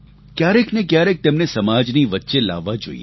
ક્યારેકને ક્યારેક તેમને સમાજની વચ્ચે લાવવા જોઈએ